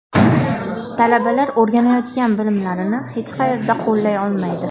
Talabalar o‘rganayotgan bilimlarini hech qayerda qo‘llay olmaydi.